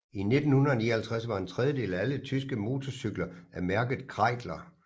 I 1959 var en tredjedel af alle tyske mortorcykler af mærket Kreidler